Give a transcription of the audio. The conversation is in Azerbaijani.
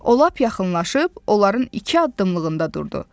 O lap yaxınlaşıb onların iki addımlığında durdu.